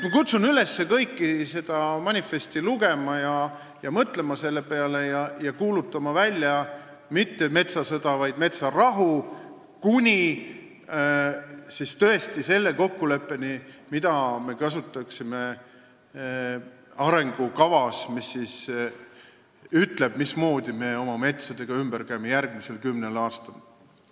Ma kutsun kõiki üles seda manifesti lugema ja mõtlema selle peale ning kuulutama välja mitte metsasõda, vaid metsarahu kuni kokkuleppeni, mida me kasutaksime arengukavas ja mis ütleb, mismoodi me oma metsaga ümber käime järgmisel kümnel aastal.